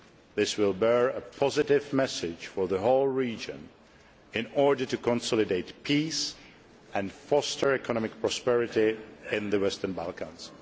This will give a positive message to the whole region in order to consolidate peace and foster economic prosperity in the Western Balkans.